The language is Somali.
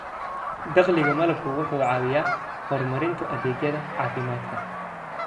Dakhliga malabku wuxuu caawiyaa horumarinta adeegyada caafimaadka.